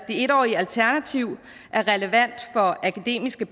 en årige alternativ er relevant for akademiske